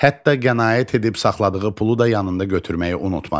Hətta qənaət edib saxladığı pulu da yanında götürməyi unutmadı.